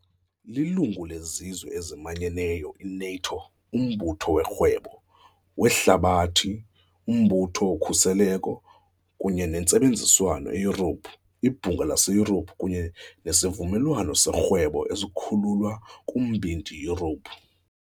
Lilungu leZizwe eziManyeneyo, i-NATO, uMbutho woRhwebo weHlabathi, uMbutho woKhuseleko kunye neNtsebenziswano eYurophu, iBhunga laseYurophu, kunye neSivumelwano soRhwebo esiKhululwa kuMbindi Yurophu .